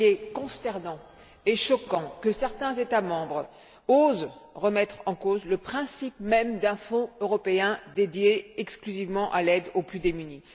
Il est consternant et choquant que certains États membres osent remettre en cause le principe même d'un fonds européen dédié exclusivement à l'aide aux plus démunis.